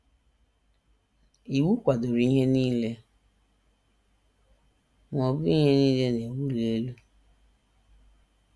Iwu kwadoro ihe nile; ma ọ bụghị ihe nile na - ewuli elu.